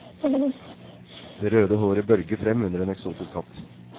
Det røde håret bølger frem under en eksotisk hatt.